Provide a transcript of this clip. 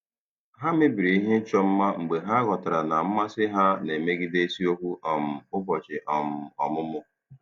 Ha mebiri ihe ịchọ mma mgbe ha ghọtara na mmasị ha na-emegide isiokwu um ụbọchị um ọmụmụ.